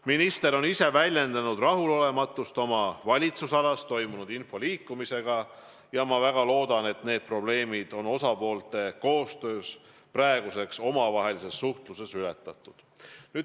Minister on ise väljendanud rahulolematust oma valitsusalas toimunud info liikumise üle ja ma väga loodan, et need probleemid on praeguseks osapoolte koostööna omavahelises suhtluses lahendatud.